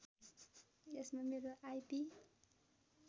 यसमा मेरो आइपि